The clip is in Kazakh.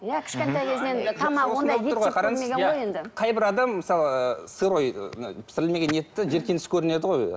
иә кішкентай кезінен қайбір адам мысалы сырой пісірілмеген етті жиіркеніш көрінеді ғой